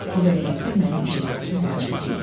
Bu vəziyyətdə mənim iştirakım vacib deyil.